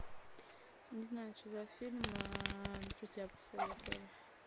не знаю что за фильм друзья посоветовали